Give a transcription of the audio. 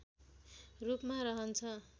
रूपमा रहन्छ